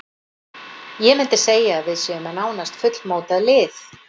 Ég myndi segja að við séum með nánast fullmótað lið.